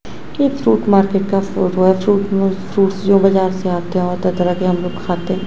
कि एक fruit market का फोटो है फ्रूट में फ्रूट्स जो बाजार से आते हैं और तरह तरह के हम लोग खाते हैं।